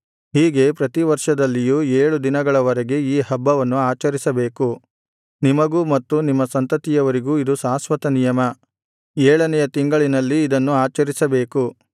ಹೀಗೆ ಪ್ರತಿ ವರ್ಷದಲ್ಲಿಯೂ ಏಳು ದಿನಗಳ ವರೆಗೆ ಈ ಹಬ್ಬವನ್ನು ಆಚರಿಸಬೇಕು ನಿಮಗೂ ಮತ್ತು ನಿಮ್ಮ ಸಂತತಿಯವರಿಗೂ ಇದು ಶಾಶ್ವತನಿಯಮ ಏಳನೆಯ ತಿಂಗಳಿನಲ್ಲಿ ಇದನ್ನು ಆಚರಿಸಬೇಕು